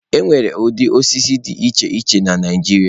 Enwere ụdị osisi dị iche iche na Naijiria.